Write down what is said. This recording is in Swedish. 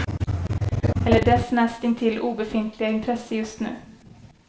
Eller dess näst intill obefintliga intresse just nu.